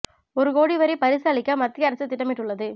ஒரு கோடி வரை பரிசு அளிக்க மத்திய அரசு திட்டமிட்டுள்ளது